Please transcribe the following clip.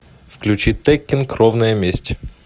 включи теккен кровная месть